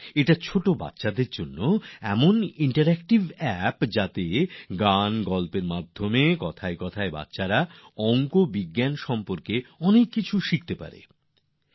এটি শিশুদের জন্য এমন একটি ইন্টারেক্টিভ অ্যাপ যেটি গান এবং গল্পের মাধ্যমে শিশুদের গণিত ও বিজ্ঞানের অনেক কিছু শিখতে সাহায্য করবে